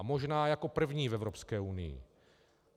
A možná jako první v Evropské unii.